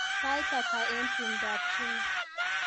Sait ata eng tumdoab Jimmy